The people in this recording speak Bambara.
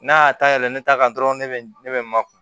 N'a y'a ta yɛlɛn ne ta kan dɔrɔn ne bɛ ne bɛ makɔnɔ